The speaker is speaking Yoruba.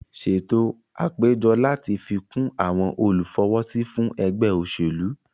Ṣètò àpéjọ láti fi kún àwon olùfọwọ́sí fún ẹgbẹ́ òṣèlú